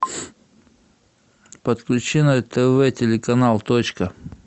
подключи на тв телеканал точка